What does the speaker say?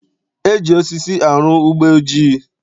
E ji osisi arụ ugbeojii